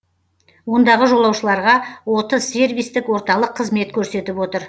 ондағы жолаушыларға отыз сервистік орталық қызмет көрсетіп отыр